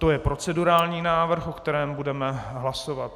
To je procedurální návrh, o kterém budeme hlasovat.